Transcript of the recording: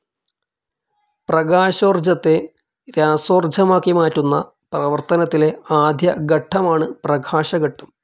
പ്രകാശോർജ്ജത്തെ രാസോർജ്ജമാക്കി മാറ്റുന്ന പ്രവർത്തനത്തിലെ ആദ്യ ഘട്ടമാണ് പ്രകാശഘട്ടം.